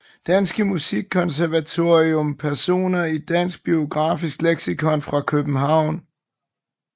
Danske Musikkonservatorium Personer i Dansk Biografisk Leksikon Personer fra København